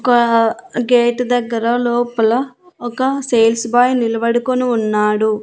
ఒక గేటు దగ్గర లోపల ఒక సేల్స్ బై నిలబడుకుని ఉన్నాడు.